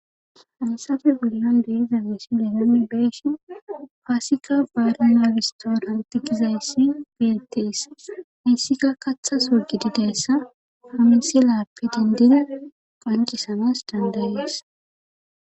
Hayssape bollan de7iza misile nuni be7eshin paasika baarana wistoor antikizayssi beetees hissika kathas wogidi deyssa famisi lappe dindina qancisamas dandayees.